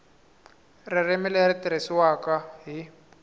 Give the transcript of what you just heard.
ririmi leri tirhisiwaka hi